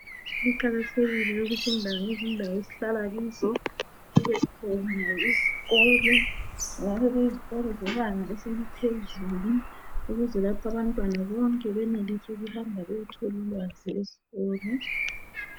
Kuqakathekile ukuthi indawo ngezindawo esihlala kizo kubekhona isikolo. Kungabe kuyizikolo zebanga eseliphezulu ukuze lapho abantwana bonke benelise ukuhamba beyetholulwazi esikolo.